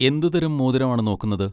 എന്തുതരം മോതിരം ആണ് നോക്കുന്നത്?